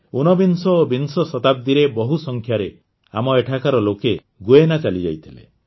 ଊନବିଂଶ ଓ ବିଂଶ ଶତାବ୍ଦୀରେ ବହୁ ସଂଖ୍ୟାରେ ଆମ ଏଠାକାର ଲୋକ ଗୁୟେନା ଚାଲିଯାଇଥିଲେ